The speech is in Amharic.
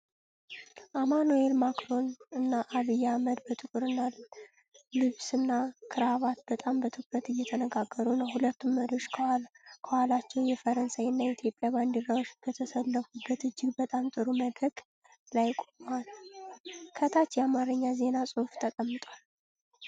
አማኑኤል ማክሮን እና ዐቢይ አሕመድ በጥቁር ልብስና ክራቫት በጣም በትኩረት እየተነጋገሩ ነው። ሁለቱም መሪዎች ከኋላቸው የፈረንሳይና የኢትዮጵያ ባንዲራዎች በተሰለፉበት እጅግ በጣም ጥሩ መድረክ ላይ ቆመዋል። ከታች የአማርኛ ዜና ጽሁፍ ተቀምጧል።